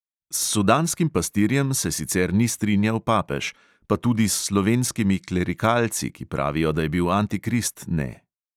S sudanskim pastirjem se sicer ni strinjal papež, pa tudi s slovenskimi klerikalci, ki pravijo, da je bil antikrist, ne.